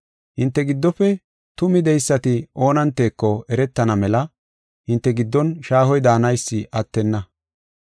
Hinte giddofe tumi de7eysati oonanteko eretana mela hinte giddon shaahoy daanaysi attenna.